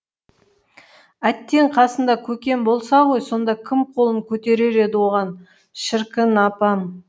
әттең қасында көкем болса ғой сонда кім қолын көтерер еді оған шіркін апам